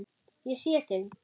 Ég sé þig.